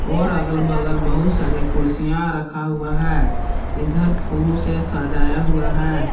और अगल बगल बहुत सारे कुर्सियां रखा हुआ है इधर फूलो से सजाया हुआ है।